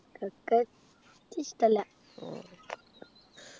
cricket ഇഷ്ടല്ല